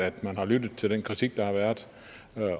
at man har lyttet til den kritik der har været